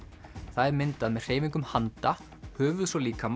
það er myndað með hreyfingum handa höfuðs og líkama